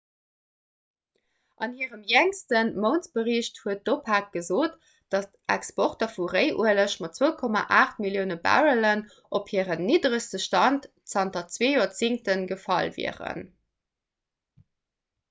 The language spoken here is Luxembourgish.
an hirem jéngste mountsbericht huet d'opec gesot datt d'exporter vu réiueleg mat 2,8 millioune barrellen op hiren nidderegste stand zanter zwee joerzéngte gefall wieren